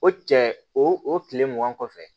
O cɛ o kile mugan kɔfɛ